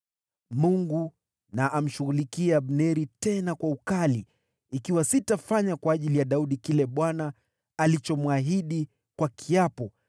Mungu na amshughulikie Abneri, tena kwa ukali, ikiwa sitafanya kwa ajili ya Daudi kile Bwana alichomwahidi kwa kiapo,